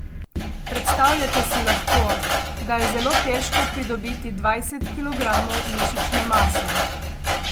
Predstavljate si lahko, da je zelo težko pridobiti dvajset kilogramov mišične mase.